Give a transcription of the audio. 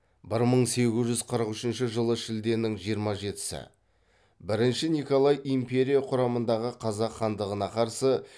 бір мың сегіз жүз қырық үшінші жылы шілденің жиырма жетісі бірінші николай империя құрамындағы қазақ хандығына қарсы